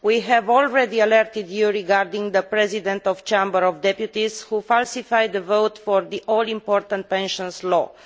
We have already alerted you regarding the President of the Chamber of Deputies, who falsified the vote for the all important pensions law.